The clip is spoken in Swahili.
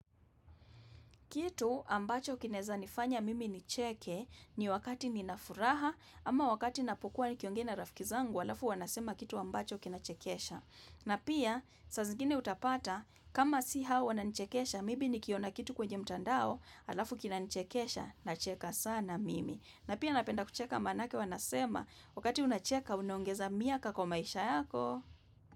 Kitu ambacho kinaeza nifanya mimi nicheke ni wakati nina furaha ama wakati napokua nikiongea rafiki zangu alafu wanasema kitu ambacho kina chekesha. Na pia, saa zingine utapata kama si hao wananichekesha maybe nikiona kitu kwenye mtandao alafu kinanichekesha nacheka sana mimi. Na pia napenda kucheka maanake wanasema wakati unacheka unaongeza miaka kwa maisha yako.